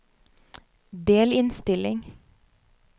delinnstilling